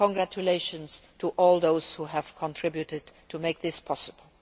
Congratulations to all those who have contributed to make this possible.